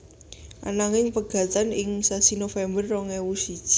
Ananging pegatan ing sasi November rong ewu siji